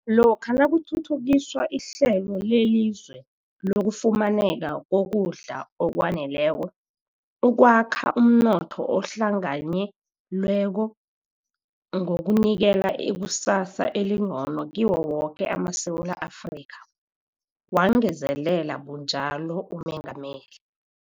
lokha nakuthuthukiswa ihlelo lelizwe lokufumaneka kokudla okwaneleko, ukwakha umnotho ohlanganye lweko, ngokunikela ikusasa elingcono kiwo woke amaSewula Afrika, wangezelela bunjalo uMengameli.